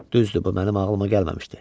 Düzdür, bu mənim ağlıma gəlməmişdi.